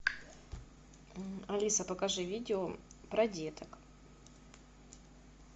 алиса покажи видео про деток